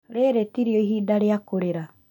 Rĩrĩ tirĩo ihinda rĩa kũrĩra